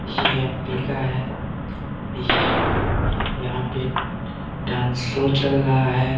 ये एम_पी का है ये यहाँ पे डांस शो चल रहा है।